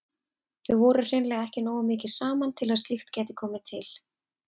Þau voru hreinlega ekki nógu mikið saman til að slíkt gæti komið til.